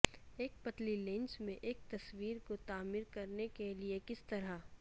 ایک پتلی لینس میں ایک تصویر کو تعمیر کرنے کے لئے کس طرح